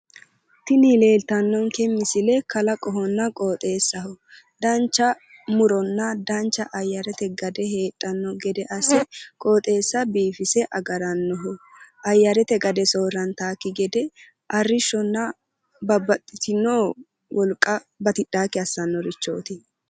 Tini leeltannonke misile kalaqohonna qoxeessaho dancha muronna dancha ayyarete gade heedhanno gede asse qoxeessa biifise agarannoho ayyarate gade soorrantaakki gede arrishshonna babbaxxiteyo wolqa batidhaakki assannorichooti